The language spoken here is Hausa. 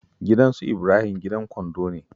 Gidan su Ibrahim gidan gandu ne